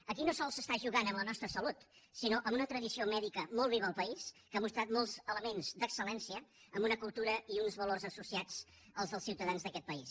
aquí no sols s’està jugant amb la nostra salut sinó amb una tradició mèdica molt viva al país que ha mostrat molts elements d’excel·una cultura i uns valors associats als dels ciutadans d’aquest país